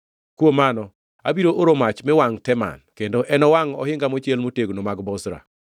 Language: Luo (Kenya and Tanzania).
kuom mano, abiro oro mach mi wangʼ Teman, kendo enowangʼ ohinga mochiel motegno mag Bozra.”